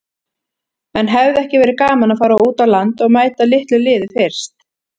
En hefði ekki verið gaman að fara út á land og mæta litlu liði fyrst?